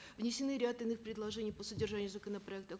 внесены ряд иных предлодений по содержанию законопроекта